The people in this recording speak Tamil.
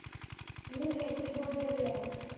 leave ல எங்கயும் போகல வெளியில